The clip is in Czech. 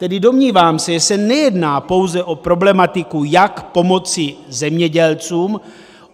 Tedy domnívám se, že se nejedná pouze o problematiku, jak pomoci zemědělcům.